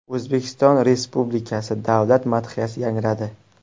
O‘zbekiston Respublikasi Davlat madhiyasi yangradi.